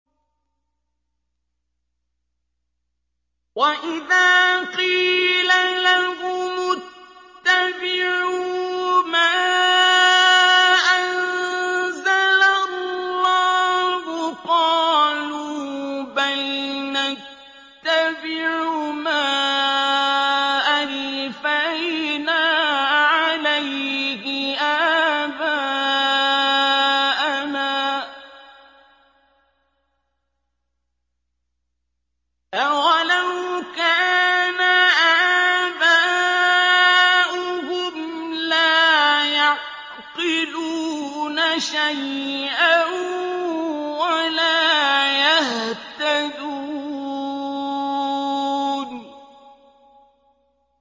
وَإِذَا قِيلَ لَهُمُ اتَّبِعُوا مَا أَنزَلَ اللَّهُ قَالُوا بَلْ نَتَّبِعُ مَا أَلْفَيْنَا عَلَيْهِ آبَاءَنَا ۗ أَوَلَوْ كَانَ آبَاؤُهُمْ لَا يَعْقِلُونَ شَيْئًا وَلَا يَهْتَدُونَ